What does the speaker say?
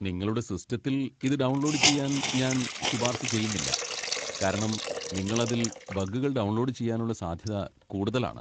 നിങ്ങളുടെ സിസ്റ്റത്തിൽ ഇത് ഡൗൺലോഡ് ചെയ്യാൻ ഞാൻ ശുപാർശ ചെയ്യുന്നില്ല, കാരണം നിങ്ങൾ അതിൽ ബഗ്ഗുകൾ ഡൗൺലോഡ് ചെയ്യാനുള്ള സാധ്യത കൂടുതലാണ്.